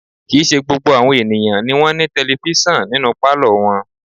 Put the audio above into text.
Kì í ṣe gbogbo àwọn ènìyàn ni wọ́n ní tẹlifísàn nínú pálọ̀ wọn